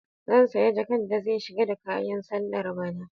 Zan saya jaka da zai shiga da kayan sallar bana.